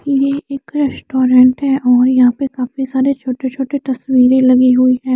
ये एक रेस्टोरेंट है और यहाँ पे काफी सारे छोटे छोटे भी लगे हुए है।